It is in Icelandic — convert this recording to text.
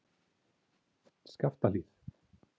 Skaftahlíð